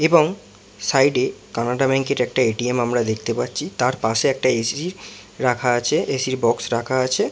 এবং সাইড - এ কানাড়া ব্যাঙ্ক - এর একটা এ . টি .এম আমরা দেখতে পাচ্ছি । তার পাশে একটা এ .সি রাখা আছে । এ .সি - র বক্স রাখা আছে ।